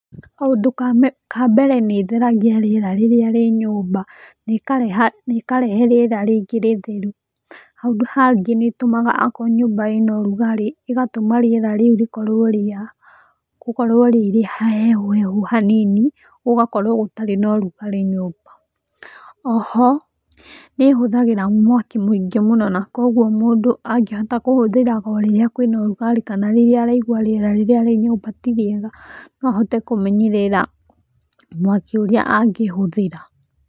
Kaũndũ ka mbere nĩ ĩtheragia rĩera rĩrĩa rĩ nyũmba, na ĩkarehe rĩera rĩngĩ rĩtheru. Handũ hangĩ nĩ ĩtumaga akorwo nyũmba ĩna rugarĩ ĩgatũma rĩera rĩu rĩkorwo rĩ rĩhehuhehu hanini, gũgakorwo gũtarĩ na ũrugarĩ nyũmba. Oho, nĩ ĩhũthagĩra mwaki mũingĩ mũno, na koguo mũndũ angĩhota kũhũthĩraga o rĩrĩa kũĩna rũgarĩ kana rĩrĩa ũraigua rĩera rĩrĩa rĩ nyũmba ti rĩega no ũhote kũmenyerera mwaki ũrĩa angĩhũthĩra.